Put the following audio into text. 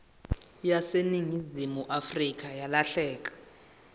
yaseningizimu afrika yalahleka